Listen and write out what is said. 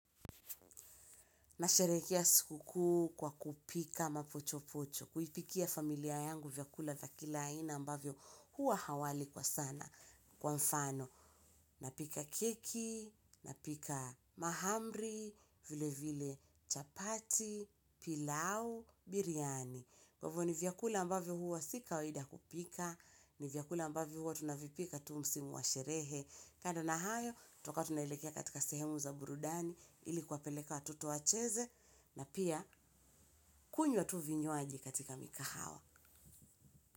Nasherekia siku kuu kwa kupika mapocho pocho. Kuipikia familia yangu vyakula vya kila aina ambavyo huwa hawali kwa sana kwa mfano. Napika keki, napika mahamri, vile vile chapati, pilau, biriyani. Kwa hivyo ni vyakula ambavyo huwa si kawaida kupika. Ni vyakula ambavyo huwa tunavipika tu msimu wa sherehe. Kando na hayo, tutakuwa tunaelekea katika sehemu za burudani. Ilikuwapeleka watoto wacheze na pia kunywa tu vinywaji katika mikahawa.